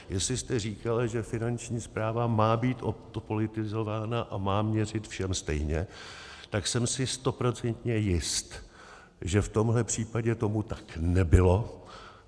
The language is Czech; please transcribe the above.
Jestli jste říkala, že Finanční správa má být odpolitizována a má měřit všem stejně, tak jsem si stoprocentně jist, že v tomhle případě tomu tak nebylo.